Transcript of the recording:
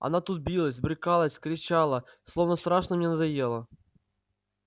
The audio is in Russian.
она тут билась брыкалась кричала словно страшно мне надоела